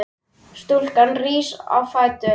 Stúlkan rís á fætur.